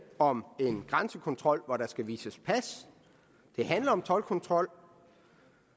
om en grænsekontrol hvor der skal vises pas det handler om toldkontrol